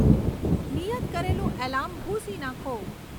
નિયત કરેલું એલાર્મ ભૂંસી નાખો